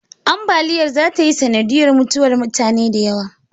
Ambaliyar zata yi sanadiyar mutuwar mutane da yawa